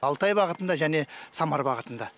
алтай бағытында және самар бағытында